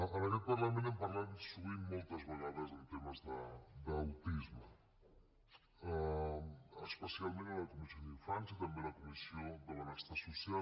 en aquest parlament hem parlat sovint moltes vegades de temes d’autisme especialment a la comissió d’infància i també a la comissió de benestar social